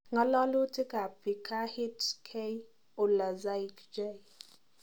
Ngalalutik ab Picahit; K. Ulaczyk/J.